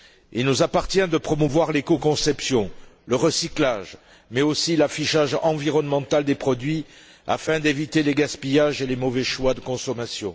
Il nous appartient de promouvoir l'éco conception, le recyclage mais aussi l'affichage environnemental des produits afin d'éviter les gaspillages et les mauvais choix de consommation.